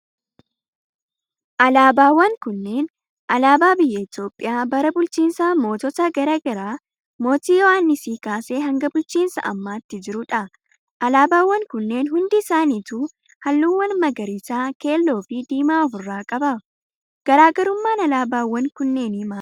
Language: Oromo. Alaabaawwan kunneen ,alaabaa biyya Itoophiyaa bara bulchiinsa mootota garaa garaa mootii Yohaannisii kaasee hanga bulchiinsa ammaatti jiruu dha. Alaabaawwan kunneen hundi isaanitu, haalluuwwan magariisa ,keelloo fi diimaa of irraa qabu. Garaa garummaan alaabaawwan kannneenii maali dha?